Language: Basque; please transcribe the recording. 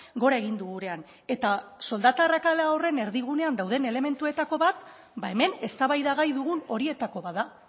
gora egin du gurean eta soldata arrakala horren erdigunean dauden elementuetako bat hemen eztabaida gai dugun horietako bat da